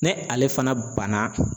Ni ale fana banna.